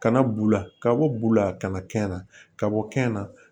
Kana bula ka bɔ bu la kana kɛn na ka bɔ kɛn na